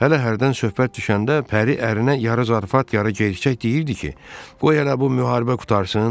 Hələ hərdən söhbət düşəndə Pəri ərinə yarı zarafat, yarı gerçək deyirdi ki, qoy hələ bu müharibə qurtarsın.